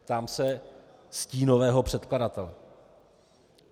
ptám se stínového předkladatele.